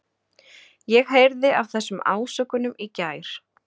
Ég heyrði af þessum ásökunum í gær.